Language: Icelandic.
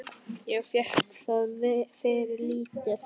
Ég fékk það fyrir lítið.